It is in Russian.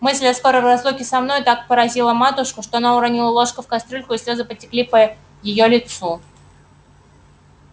мысль о скорой разлуке со мною так поразила матушку что она уронила ложку в кастрюльку и слезы потекли по её лицу